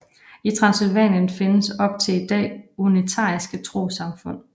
I Transsylvanien findes op til i dag unitariske trossamfund